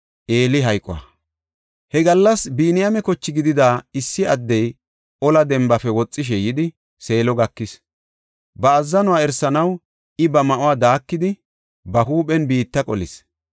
He gallas Biniyaame koche gidida issi addey ola dembafe woxishe yidi Seelo gakis. Ba azzanuwa erisanaw I ba ma7uwa daakidi, ba huuphen biitta qolis.